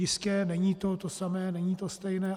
Jistě, není to to samé, není to stejné.